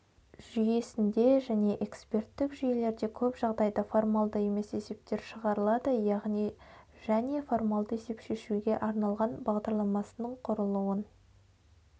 жүйесінде және эксперттік жүйелерде көп жағдайда формалды емес есептер шығарылады яғни және формалды есеп шешуге арналған бағдарламасының құрылуын